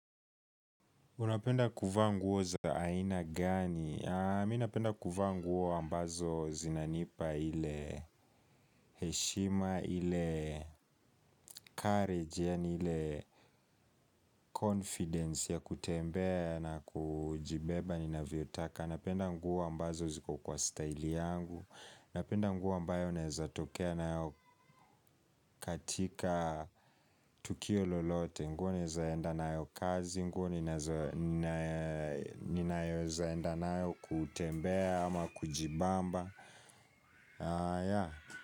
Unapenda kuvaa nguo za aina gani? Mimi napenda kuvaa nguo ambazo zinanipa ile heshima, ile courage, yani ile confidence ya kutembea na kujibeba ni na viotaka. Napenda nguo ambazo ziko kwa style yangu. Napenda nguo ambayo naeza tokea nayo katika tukio lolote nguo neza enda na yo kazi nguo ni nazo enda na yo kutembea ama kujibamba.